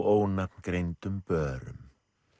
ónafngreindum börum